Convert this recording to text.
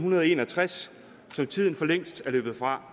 en og tres som tiden for længst er løbet fra